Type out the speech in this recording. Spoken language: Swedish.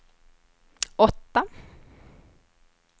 åtta